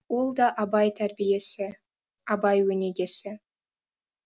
ол да абай тәрбиесі абай өнегесі